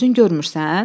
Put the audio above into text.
Özün görmürsən?